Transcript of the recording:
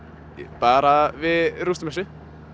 bara við rústum þessu